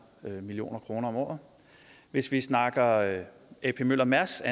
million kroner om året hvis vi snakker ap møller mærsk